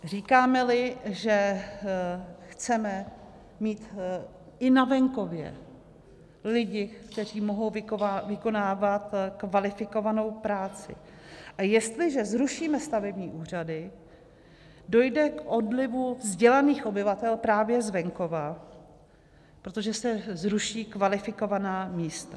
Říkáme-li, že chceme mít i na venkově lidi, kteří mohou vykonávat kvalifikovanou práci, a jestliže zrušíme stavební úřady, dojde k odlivu vzdělaných obyvatel právě z venkova, protože se zruší kvalifikovaná místa.